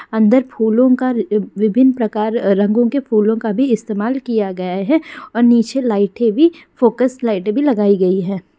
अन्दर फूलो का विभिन प्रकार रंगों के फूलो का भी इस्तमाल किया गया है और नीचे लाइटे भी फोकस लाइटे भी लगाई गई है।